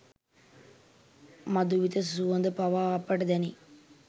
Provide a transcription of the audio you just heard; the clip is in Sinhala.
මධුවිත සුවඳ පවා අපට දැනේ.